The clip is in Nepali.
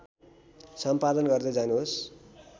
सम्पादन गर्दै जानुहोस्